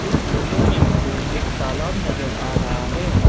इस फोटो में मुझे एक तालाब नजर आ रहा है।